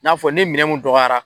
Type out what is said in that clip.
N'a fɔ ne minɛn mun dɔgɔyara